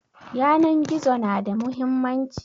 Yanan gizo na da muhimmanci